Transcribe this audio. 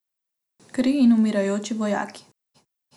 Kri in umirajoči vojaki.